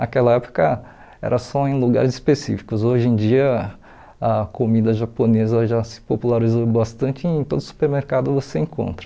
Naquela época era só em lugares específicos, hoje em dia a comida japonesa já se popularizou bastante e em todo supermercado você encontra.